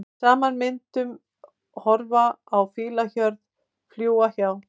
Saman myndum horfa á fílahjörð, fljúga hjá.